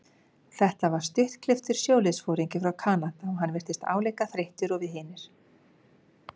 Þetta var stuttklipptur sjóliðsforingi frá Kanada og hann virtist álíka þreyttur og við hinir.